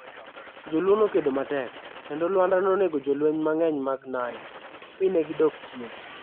Jo Luo nokedo matek, kendo Lwanda nonego jolweny mang'eny mag Nandi, mi ne gidok chien.